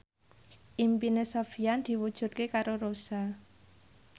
impine Sofyan diwujudke karo Rossa